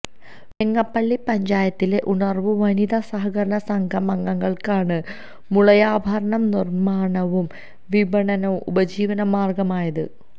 വെങ്ങപ്പള്ളി പഞ്ചായത്തിലെ ഉണര്വ് വനിതാ സഹകരണ സംഘം അംഗങ്ങള്ക്കാണ് മുളയാഭരണ നിര്മണവും വിപണനവും ഉപജീവനമാര്ഗമായത്